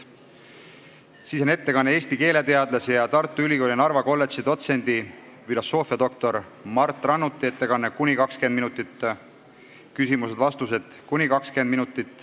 Järgneb Eesti keeleteadlase ja Tartu Ülikooli Narva kolledži dotsendi filosoofiadoktor Mart Rannuti ettekanne , siis on küsimused ja vastused .